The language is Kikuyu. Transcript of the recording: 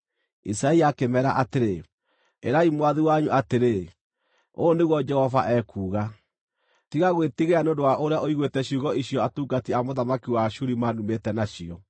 Isaia akĩmeera atĩrĩ, “Ĩrai mwathi wanyu atĩrĩ, ‘Ũũ nĩguo Jehova ekuuga: Tiga gwĩtigĩra nĩ ũndũ wa ũrĩa ũiguĩte ciugo icio atungati a mũthamaki wa Ashuri manumĩte nacio.